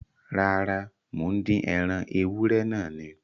Rárá, mò ń dín ẹran ewúrẹ́ náà ni